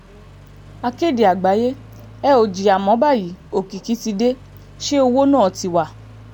akéde àgbáyé ẹ ò jìyà mọ́ báyìí òkìkí tí dẹ̀ ṣe òwò náà ti wá